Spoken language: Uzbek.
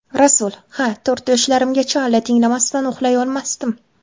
Rasul: Ha, to‘rt yoshlarimgacha alla tinglamasdan uxlay olmasdim.